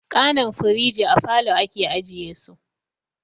Kanan firiji a falo ake ajiye su